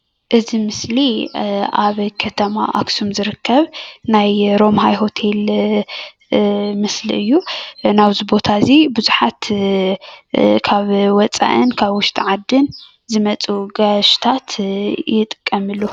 እዚ ምስሊ ኣብ ከተማ ኣክሱም ዝርከብ ናይ ሮማሃይ ሆቴል ምስሊ እዩ ናብዚ ቦታ እዚ ብዙሓት ካብ ወፃኢን ካብ ውሽጢ ዓድን ዝመፁኡ ጋያሹታት ይጥቀሙሉ።